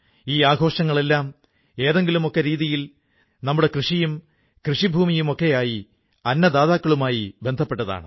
ഈ ആഘോഷങ്ങളെല്ലാം ഏതെങ്കിലുമൊക്കെ രീതിയിൽ നമ്മുടെ കൃഷിയും കൃഷിഭൂമിയുമൊക്കെയായി അന്നദാതാക്കളുമായി ബന്ധപ്പെട്ടവയാണ്